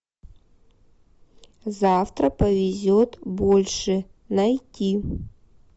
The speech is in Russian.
завтра повезет больше найти